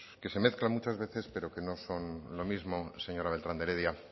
que se mezclan muchas veces pero que no son lo mismo señora beltran de heredia